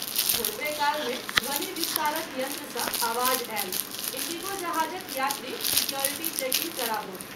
थोड़बे काल मे ध्वनि विस्तारक यंत्र सँ आवाज आयल इंडिगो जहाजक यात्री सिक्योरिटी चेकिंग कराबथु।